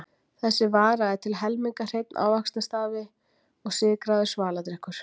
Þessi vara er til helminga hreinn ávaxtasafi og sykraður svaladrykkur.